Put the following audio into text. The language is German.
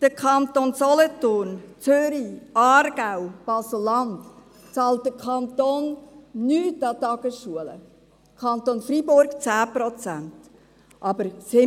die Kantone Solothurn, Zürich, Aargau oder Basel-Land zahlen nichts an die Tagesschulen, der Kanton Freiburg 10 Prozent.